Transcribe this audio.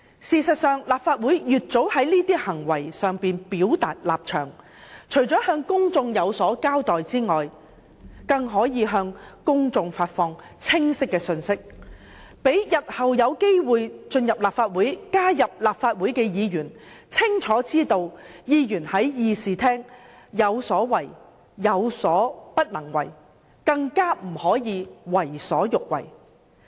事實上，立法會應盡早就這些行為表達立場，除了向公眾有所交代外，更可發放清晰的信息，讓日後有機會進入立法會擔任議員的人士清楚知道，議員在議事廳有所為、有所不能為，不可以為所欲為。